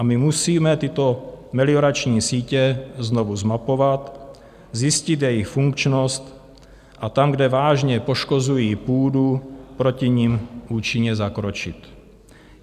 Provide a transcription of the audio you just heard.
A my musíme tyto meliorační sítě znovu zmapovat, zjistit jejich funkčnost a tam, kde vážně poškozují půdu, proti nim účinně zakročit.